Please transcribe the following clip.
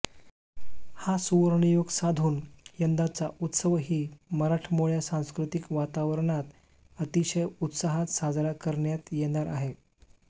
हा सुवर्णयोग साधून यंदाचा उत्सवही मराठमोळ्या सांस्कृतिक वातावरणात अतिशय उत्साहात साजरा करण्यात येणार आहे